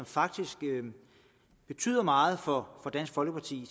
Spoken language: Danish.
faktisk meget for dansk folkeparti